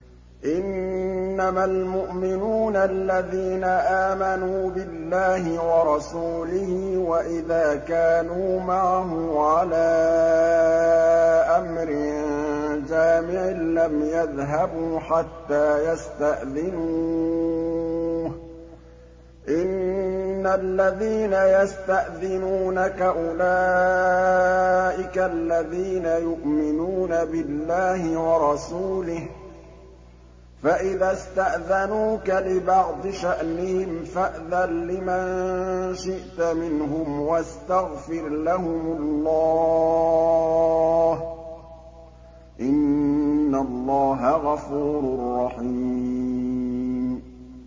إِنَّمَا الْمُؤْمِنُونَ الَّذِينَ آمَنُوا بِاللَّهِ وَرَسُولِهِ وَإِذَا كَانُوا مَعَهُ عَلَىٰ أَمْرٍ جَامِعٍ لَّمْ يَذْهَبُوا حَتَّىٰ يَسْتَأْذِنُوهُ ۚ إِنَّ الَّذِينَ يَسْتَأْذِنُونَكَ أُولَٰئِكَ الَّذِينَ يُؤْمِنُونَ بِاللَّهِ وَرَسُولِهِ ۚ فَإِذَا اسْتَأْذَنُوكَ لِبَعْضِ شَأْنِهِمْ فَأْذَن لِّمَن شِئْتَ مِنْهُمْ وَاسْتَغْفِرْ لَهُمُ اللَّهَ ۚ إِنَّ اللَّهَ غَفُورٌ رَّحِيمٌ